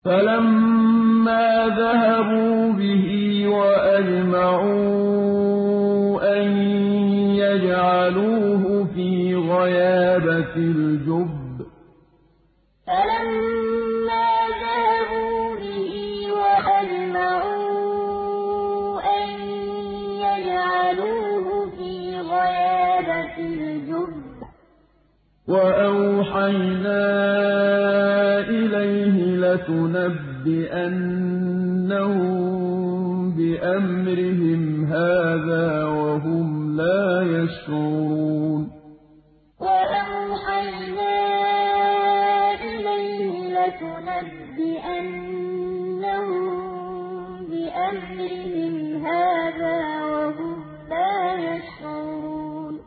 فَلَمَّا ذَهَبُوا بِهِ وَأَجْمَعُوا أَن يَجْعَلُوهُ فِي غَيَابَتِ الْجُبِّ ۚ وَأَوْحَيْنَا إِلَيْهِ لَتُنَبِّئَنَّهُم بِأَمْرِهِمْ هَٰذَا وَهُمْ لَا يَشْعُرُونَ فَلَمَّا ذَهَبُوا بِهِ وَأَجْمَعُوا أَن يَجْعَلُوهُ فِي غَيَابَتِ الْجُبِّ ۚ وَأَوْحَيْنَا إِلَيْهِ لَتُنَبِّئَنَّهُم بِأَمْرِهِمْ هَٰذَا وَهُمْ لَا يَشْعُرُونَ